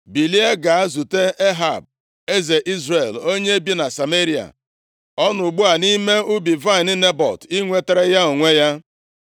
“Bilie, gaa zute Ehab, eze Izrel onye bi na Sameria. Ọ nọ ugbu a nʼime ubi vaịnị Nebọt inwetara ya onwe ya.